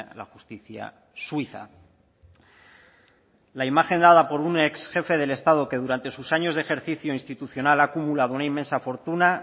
la justicia suiza la imagen dada por un ex jefe del estado que durante sus años de ejercicio institucional ha acumulado una inmensa fortuna